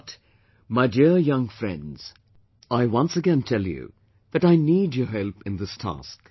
But, my dear young friends, I once again tell you that I need your help in this task